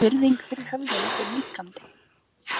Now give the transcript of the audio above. Virðing fyrir höfðinu fer minnkandi